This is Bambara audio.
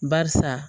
Barisa